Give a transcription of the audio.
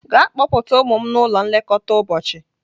Gaa kpọpụta ụmụ m n'ụlọ nlekọta ụbọchị!